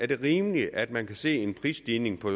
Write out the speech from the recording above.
det er rimeligt at man kan se en prisstigning på